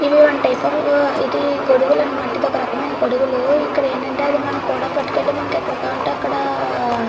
ఇది గొడుగులు అనమాట ఇది ఒక రకమైన గొడుగులు ఇది ఎక్కడికి కావాలంటే అక్కడికి --